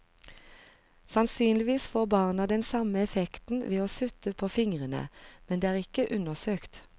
Sannsynligvis får barna den samme effekten ved å sutte på fingrene, men det er ikke undersøkt.